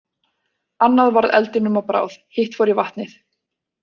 Annað varð eldinum að bráð, hitt fór í vatnið.